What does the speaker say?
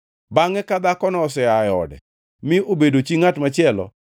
Bangʼe ka dhakono osea e ode, mi obedo chi ngʼat machielo,